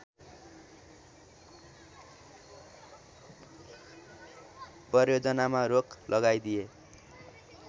परियोजनामा रोक लगाइदिए